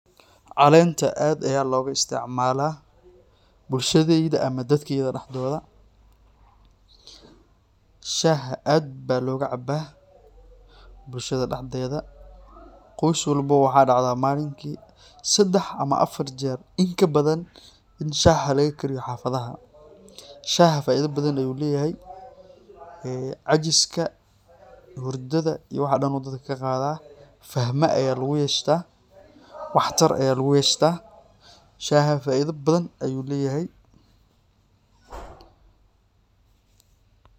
Calenta ad aya logaisticmala bulshadeyda ama dadkeyga daxdodha. Shaha ad ba logacabah bulshada daxdeda. Qoys walbo waxaa dacdaa malinki sedax jer ama afar jer in in kabadan in shaha lagakariyo xafadaha. Shaha faido bathan ayu leyahay ee cajiska, hurdada iyo waxaa dan uu dadka kaqadah. Fahma ayaa luguyeshtah, wax tar ayaa luguyeshtah, shaha faida bathan ayuu leyahay.